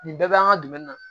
Nin bɛɛ bɛ an ka dumuni na